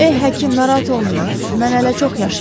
Ey həkim, narahat olmayın, mən hələ çox yaşayacağam.